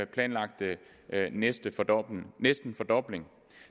planlagte næsten fordobling næsten fordobling